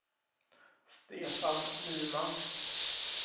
Stefan Nyman